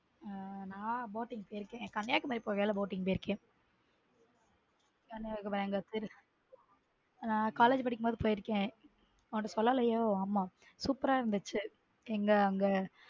நான் boating போயிருக்கேன் கன்னியாகுமரி போகையில boating போய் இருக்கேன நான் college படிக்கும் போது போயிருக்கேன் உன்கிட்ட சொல்லலையோ ஆமா super ரா இருந்துச்சு எங்க அங்க.